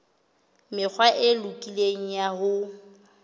mekgwa e lokileng ya ho